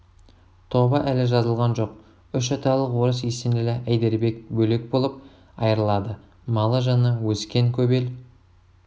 тобы әлі жазылған жоқ үш аталық орыс есенәлі әйдербек бөлек болып айырылады малы-жаны өскен көп ел